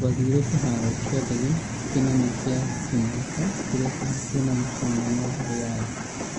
Twathire kĩharo kĩa ndege kĩnene kĩa King Khalid kĩria kĩhakuhĩ na mũciĩ mũnene wa Riyadh